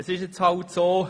Es ist halt so: